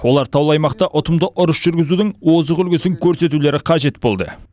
оларға таулы аймақта ұтымды ұрыс жүргізудің озық үлгісін көрсету қажет болды